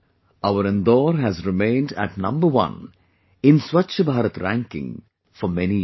Our Indore has remained at number one in 'Swachh Bharat Ranking' for many years